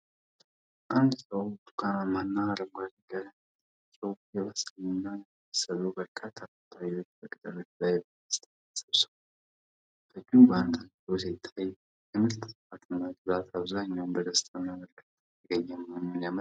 አንድ ሰው ብርቱካናማ እና አረንጓዴ ቀለም ያላቸውን የበሰሉ እና ያልበሰሉ በርካታ ፓፓያዎች በቅጠሎች ላይ በደስታ ሰብስቧል። በእጁ ጓንት አድርጎ ሲታይ፤ የምርቱ ጥራት እና ብዛት አብዛኛው በደስታና በእርካታ የተገኘ መሆኑን ያመለክታል።